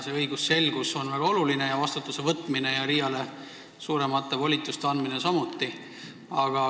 Õigusselgus on muidugi väga oluline, vastutus ja RIA-le suuremate volituste andmine samuti.